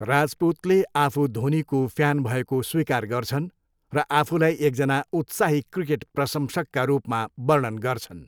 राजपुतले आफू धोनीको फ्यान भएको स्वीकार गर्छन् र आफूलाई एकजना उत्साही क्रिकेट प्रशंसकका रूपमा वर्णन गर्छन्।